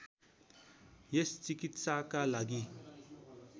यस चिकित्साका लागि